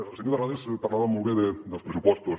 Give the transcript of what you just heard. el senyor terrades parlava molt bé dels pressupostos